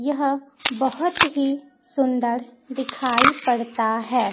यह बहोत ही सुंदर दिखाई पड़ता है।